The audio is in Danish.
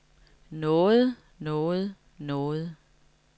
noget noget noget